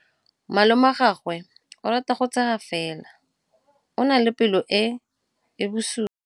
Malomagwe o rata go tshega fela o na le pelo e e bosula.